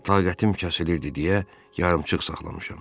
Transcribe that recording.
Taqətim kəsilirdi deyə yarımçıq saxlamışam.